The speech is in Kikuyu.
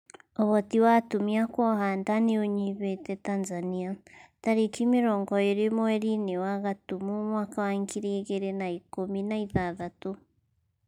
ũhoti wa atumia kuoha nda nĩ ũnyihĩte Tanzania tarĩki mĩrongo ĩrĩ mweri-inĩ wa gatumu mwaka wa ngiri igĩrĩ na ikũmi na ithathatũ